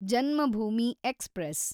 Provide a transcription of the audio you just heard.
Janmabhoomi express